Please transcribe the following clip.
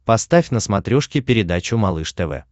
поставь на смотрешке передачу малыш тв